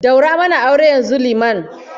Daura mana aure yanzu, liman